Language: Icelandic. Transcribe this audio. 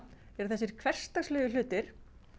eru þessir hversdagslegu hlutir